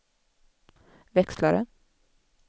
växlare